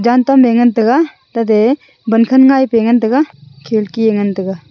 yantam e ngan tai ga tate bankhan ngai pe ngan taiga khidki e ngan taiga.